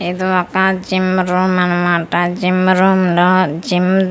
ఇది ఒక gym room అన్నమాట జిమ్ రూమ్ లో జిమ్ --